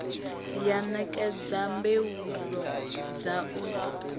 ya ṋekedza mbuelo dza u